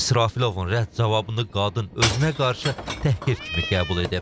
İsrafilovun rədd cavabını qadın özünə qarşı təhqir kimi qəbul edib.